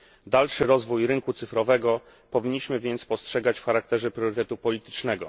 Dalszy rozwój rynku cyfrowego powinniśmy więc postrzegać w charakterze priorytetu politycznego.